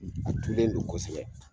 A tulen do kosɛbɛ.